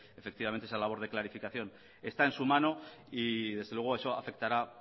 efectivamente esa labor de clarificación está en su mano y desde luego eso afectará